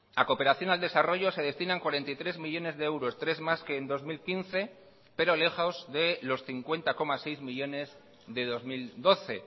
a cooperación al desarrollo se destinan cuarenta y tres millónes de euros tres más que en dos mil quince pero lejos de los cincuenta coma seis millónes de dos mil doce